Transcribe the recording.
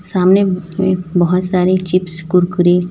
सामने बहोत सारे चिप्स कुरकुरे--